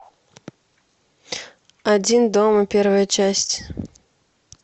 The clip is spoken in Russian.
один дома первая часть